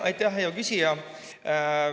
Aitäh, hea küsija!